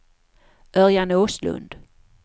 Örjan Åslund